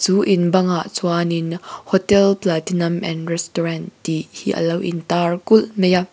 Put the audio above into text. chu in bangah chuanin hotel platinum and restaurant tih hi lo intar kulh mai a.